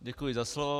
Děkuji za slovo.